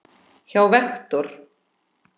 hjá Vektor.